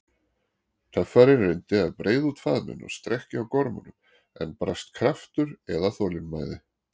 Töffarinn reyndi að breiða út faðminn og strekkja á gormunum, en brast kraftur eða þolinmæði.